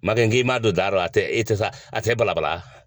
Makɛ k'i ma don da la, a tɛ i tɛ sa a tɛ bala bala.